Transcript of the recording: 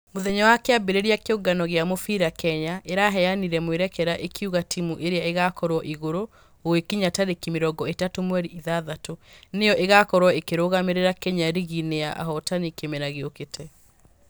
Mũthenya wa kĩambĩrĩria kĩũngano gĩa mũbira kenya ĩraheanire mwĩrekera ĩkiuga timũ ĩrĩa ĩgakorwo igũrũ gũgĩkinya tarĩki mĩrongo ĩtatũ mweri ithathatũ Nĩyo ĩgakorwo ĩkĩrũgamĩrĩra kenya rigi-inĩ ya ahotani kĩmera gĩokĩte.